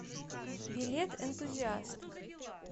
билет энтузиаст